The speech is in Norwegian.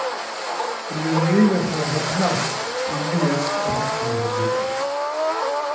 Han vil rive for å få plass til mer effektive bygg.